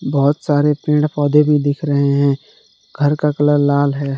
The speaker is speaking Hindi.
बहोत सारे पेड़ पौधे भी दिख रहे है घर का कलर लाल है।